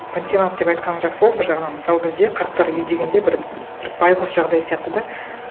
пансионат деп айтқаның жақсы болды бір жағынан мысалы бізде қарттар үйі дегенде бір байғұс жағдай сияқты да